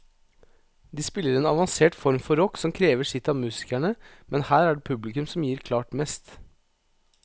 De spiller en avansert form for rock som krever sitt av musikerne, men her er det publikum som gir klart mest.